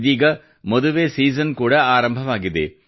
ಇದೀಗ ಮದುವೆ ಸೀಸನ್ ಕೂಡ ಆರಂಭವಾಗಿದೆ